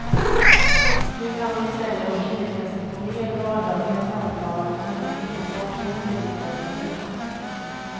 Nu kan hon i stället inrikta sig på mer vardagliga samtal som inte enbart är inriktade på sex.